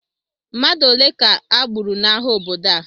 Mmadụ ole ka e gburu n'agha obodo a?